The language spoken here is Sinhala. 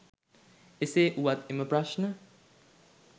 එසේ වුවත් එම ප්‍රශ්න